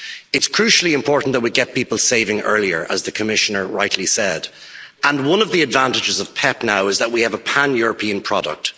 It is crucially important that we get people saving earlier, as the Commissioner rightly said, and one of the advantages of PEPP now is that we have a pan European product.